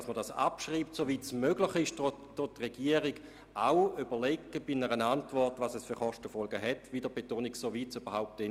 Soweit es zu diesem Zeitpunkt überhaupt bereits möglich ist – auch dies ist zu betonen –, überlegt die Regierung bei einer Antwort auch, welche Kostenfolgen das Begehren hätte.